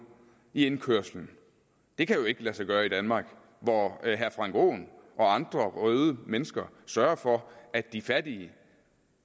i indkørslen det kan jo ikke lade sig gøre i danmark hvor herre frank aaen og andre røde mennesker sørger for at de fattige